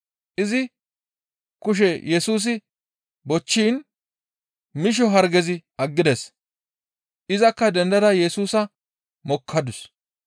Izi kushe Yesusi bochchiin misho hargezi aggides. Izakka dendada Yesusa mokkadus.